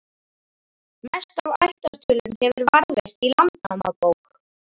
Mest af ættartölum hefur varðveist í Landnámabók.